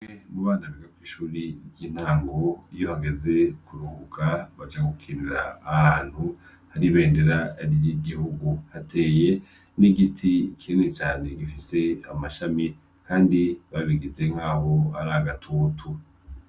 Kwishure mu bana biga kwishure y'intango iyo hageze kuruhuka baja gukinira ahantu hari ibendera ry'igihugu, hateye n'igiti kinini cane gifise amashami kandi babigize nkaho ari agatutu.